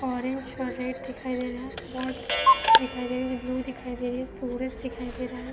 Orange और red दिखाई दे रहा है व्हाट दिखाई दे रही है ब्लू दिखाई दे रही है सूरज दिखाई दे रहा है।